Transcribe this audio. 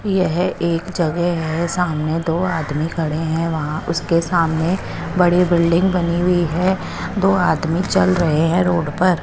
ये है एक जगह है सामने दो आदमी खडे है वहा उसके सामने बड़ी बिल्डिंग बनी हुई है दो आदमी चल रहे है रोड पर।